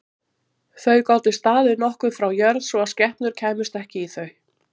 Þau gátu staðið nokkuð frá jörð svo að skepnur kæmust ekki í þau.